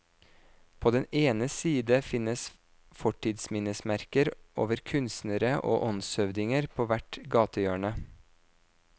På den ene side finnes fortidsminnesmerker over kunstnere og åndshøvdinger på hvert gatehjørne.